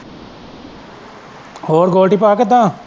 ਹੋਰ ਗੋਲਡੀ ਭਾਅ ਕਿੱਦਾ।